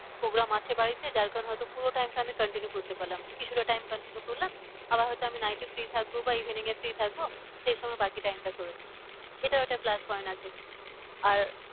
Program আছে বাড়িতে যার কারণে হয় তো পুরো time টা আমি continue করতে পারলাম না। কিছুটা time continue করলাম আবার হয় তো আমি night এ free থাকবো বা evening এ free থাকবো। সেই সময় বাকি time টা এটাও একটা plus point আছে আর